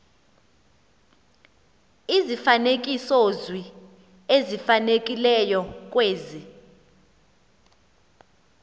izifanekisozwi ezifanelekileyo kwezi